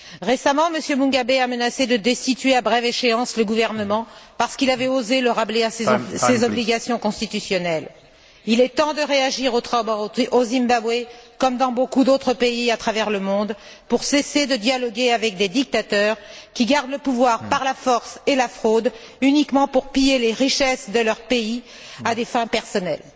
Récemment, le président Mugabe a menacé de destituer à brève échéance le gouvernement parce qu'il avait osé le rappeler à ses obligations constitutionnelles. Il est temps de réagir au Zimbabwe comme dans beaucoup d'autres pays à travers le monde pour cesser de dialoguer avec des dictateurs qui gardent le pouvoir par la force et la fraude, uniquement pour piller les richesses de leur pays à des fins personnelles.